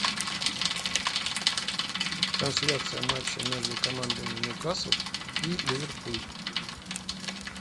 трансляция матча между командами ньюкасл и ливерпуль